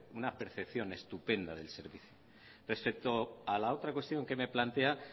una percepción estupenda del servicio respecto a la otra cuestión que me plantea